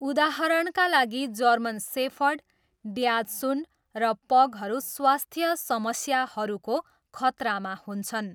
उदाहरणका लागि, German shepherd, dachshund र पगहरू स्वास्थ्य समस्याहरूको खतरामा हुन्छन्।